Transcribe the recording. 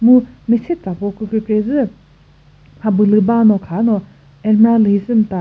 mu mese tsako kükre kre zü mhabülü bano khano almirah lühi sümta.